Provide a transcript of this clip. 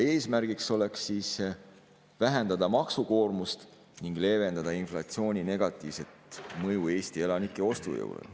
Eesmärgiks oleks vähendada maksukoormust ning leevendada inflatsiooni negatiivset mõju Eesti elanike ostujõule.